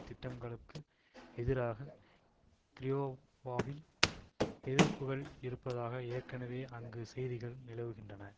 திட்டங்களுக்கு எதிராக கிரயோவாவில் எதிர்ப்புகள் இருப்பதாக ஏற்கனவே அங்கு செய்திகள் நிலவுகின்றன